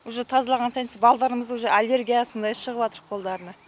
уже тазалаған сайын со балдарымызда уже аллергия сондай шығыватыр қолдарына